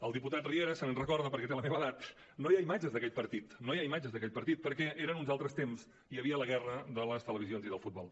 el diputat riera se’n recorda perquè té la meva edat no hi ha imatges d’aquell partit perquè eren uns altres temps i hi havia la guerra de les televisions i del futbol